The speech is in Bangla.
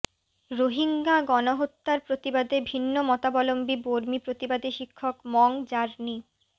রোহিঙ্গা গণহত্যার প্রতিবাদে ভিন্নমতাবলম্বী বর্মী প্রতিবাদী শিক্ষক মং জার্নি